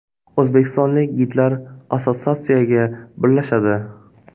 O‘zbekistonlik gidlar assotsiatsiyaga birlashadi.